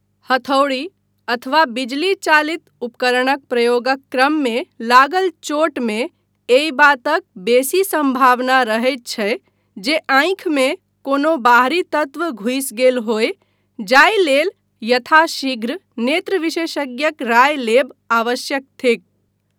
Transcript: हथौड़ी अथवा बिजली चालित उपकरणक प्रयोगक क्रममे लागल चोटमे एहि बातक बेसी सम्भावना रहैत छै जे आँखिमे कोनो बाहरी तत्व घुसि गेल होय जाहि लेल यथाशीघ्र नेत्रविशेषज्ञक राय लेब आवश्यक थिक।